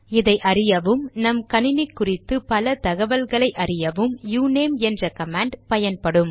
இதை அறியவும் நம்கணினி குறித்து பல தகவல்களை அறியவும் யுநேம் என்ற கமாண்ட் பயன்படும்